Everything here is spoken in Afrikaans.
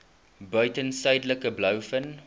buiten suidelike blouvin